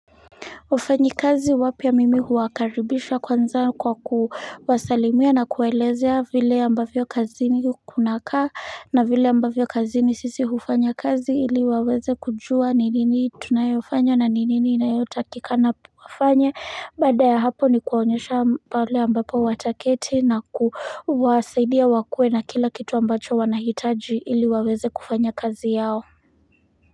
Wafanyi kazi wapya mimi huwakaribisha kwanza kwa kuwasalimia na kuwaelezea vile ambavyo kazi ni kukunaka na vile ambavyo kazi ni sisi hufanya kazi ili waweze kujua ni nini tunayofanya na ni nini inayotakikana wafanya baada ya hapo ni kuwaonyesha pale ambabo wataketi na kuwasaidia wakue na kila kitu ambacho wanahitaji ili waweze kufanya kazi yao.